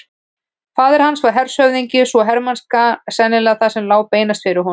Faðir hans var hershöfðingi svo hermennska var sennilega það sem lá beinast fyrir honum.